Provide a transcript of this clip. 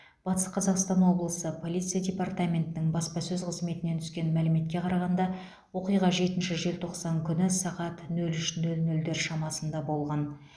батыс қазақстан облысы полиция департаментінің баспасөз қызметінен түскен мәліметке қарағанда оқиға жетінші желтоқсан күні сағат нөл үш нөл нөлдер шамасында болған